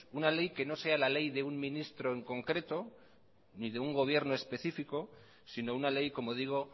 una ley que no sea la ley de un ministro en concreto ni de una gobierno específico sino una ley como digo